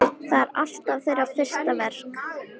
Það er alltaf þeirra fyrsta verk.